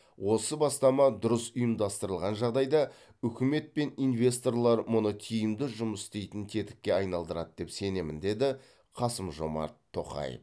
осы бастама дұрыс ұйымдастырылған жағдайда үкімет пен инвесторлар мұны тиімді жұмыс істейтін тетікке айналдырады деп сенемін деді қасым жомарт тоқаев